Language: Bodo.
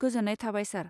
गोजोन्नाय थाबाय सार।